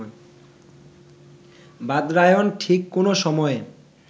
বাদরায়ণ ঠিক কোন সময়ের